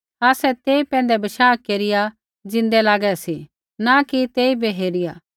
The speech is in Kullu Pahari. आसै तेई पैंधै बशाह केरिया ज़िन्दै लागै सी न कि तेइबै हेरिया